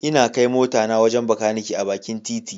Ina kai motata wajen Bakaniken bakin titi.